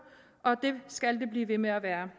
og det skal det blive ved med at være